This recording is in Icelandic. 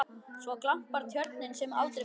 Svo glampar Tjörnin sem aldrei fyrr.